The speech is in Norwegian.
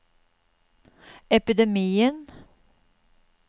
epidemien